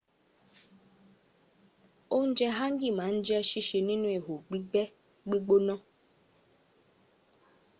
ounje hangi ma n je sise ninu iho gbigbe gbigbona